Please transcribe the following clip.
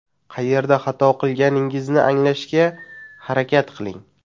Qayerda xato qilganingizni anglashga harakat qiling.